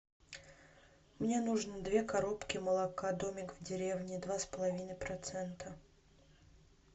мне нужно две коробки молока домик в деревне два с половиной процента